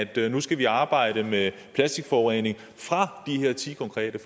vi nu skal arbejde med plastikforurening fra de her ti konkrete